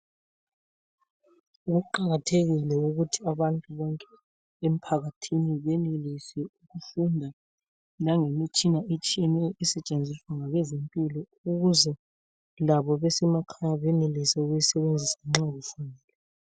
Kuqakathekile ukuthi abantu bonke emphakathini benelise ukufunda langemitshina etshiyeneyo esetshenziswa ngabeze mpilo ukuze labo besemakhaya benelise ukuyi sebenzisa nxa befuna.